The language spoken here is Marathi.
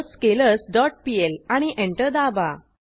पर्ल स्केलर्स डॉट पीएल आणि एंटर दाबा